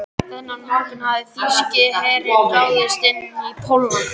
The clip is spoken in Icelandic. Þennan morgunn hafði þýski herinn ráðist inn í Pólland.